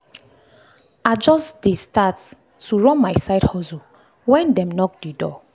i just dey start to run my side hustle when dem knock d door.